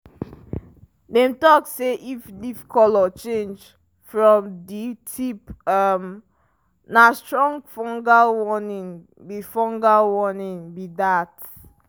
dem talk say if leaf colour change from di tip um na strong fungal warning be fungal warning be dat.